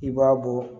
I b'a bɔ